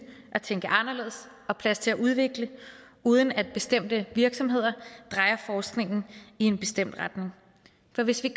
og tænke anderledes og plads til at udvikle uden at bestemte virksomheder drejer forskningen i en bestemt retning for hvis vi